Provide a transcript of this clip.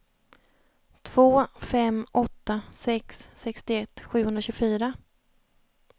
två fem åtta sex sextioett sjuhundratjugofyra